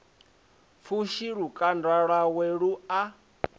pfushi lukanda lwawe lu a